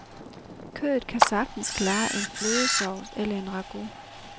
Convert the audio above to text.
Kødet kan sagtens klare en flødesovs eller en ragout.